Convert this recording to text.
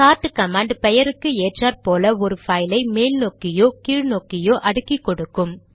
chart command பெயருக்கு ஏற்றாற்போல் ஒரு பைல் ஐ மேல் நோக்கியோ கீழ் நோக்கியோ அடுக்கிக்கொடுக்கும்